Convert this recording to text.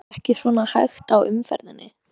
Hefur þetta ekki svona hægt á umferðinni?